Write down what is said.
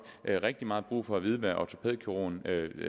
rigtig meget brug for at vide hvad ortopædkirurgen